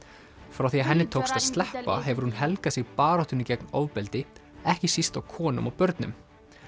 frá því að henni tókst að sleppa hefur hún helgað sig baráttunni gegn ofbeldi ekki síst á konum og börnum